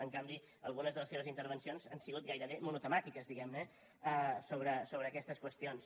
en canvi algunes de les seves intervencions han sigut gairebé monotemàtiques sobre aquestes qüestions